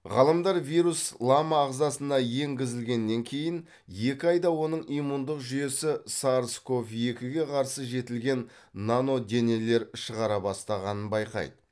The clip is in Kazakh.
ғалымдар вирус лама ағзасына енгізілгеннен кейін екі айда оның иммундық жүйесі сарс ков екіге қарсы жетілген наноденелер шығара бастағанын байқайды